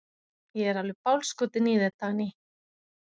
Ég er alveg bálskotinn í þér, Dagný!